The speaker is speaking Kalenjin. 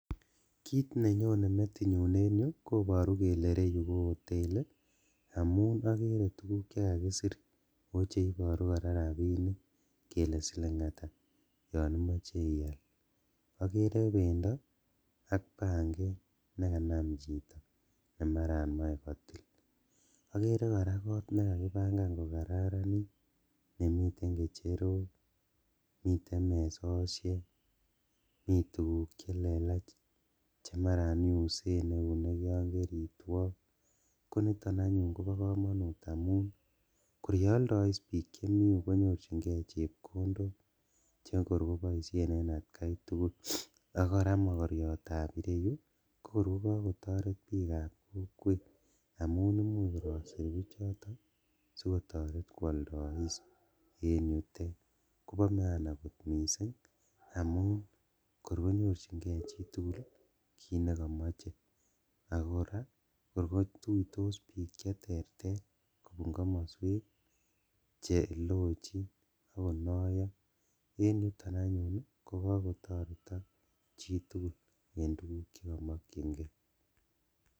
Kit nenyone metinyu en yu koboru kele ireyu ko hoteli amun okere tuguk chekakisir oo cheoboru koraa rabinik kele siling ata yon imoche iaal okere bendo ak banget nekanam chito nemaran moe kotil , okere koraa kot nekakibangan kokararanit nemiten kecherok, miten mesoshek, mituguk chelelach chemaran iusen neunek yon maran keritwo, koniton anyun kobo komonut kor yeoldois bik chemi yu konyorjingee chepkondok chekor koboishen en atkaitugul, ak koraa mokoriptab ireu kokor kogogotoret bikab kokwet amun imuch kor kosir bichoto sikotoret kwoldois en yutet kobo maana kot missing' amun kor konyorjingee chitugul kit nekomoche , ako koraa kor kotuitos bik cheterter kobun komoswek chelochin ok konoyo rn yuton anyun ii kogokotoret chitugul en tuguk chekimokchingee.